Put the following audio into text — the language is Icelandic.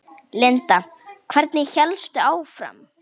Linda: Hvernig hélstu áfram?